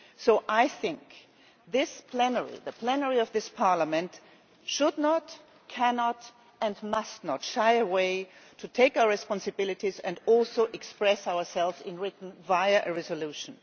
So I think that the plenary of this Parliament should not, cannot and must not shy away but should accept our responsibilities and also express ourselves in writing, via a resolution.